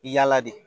Yala de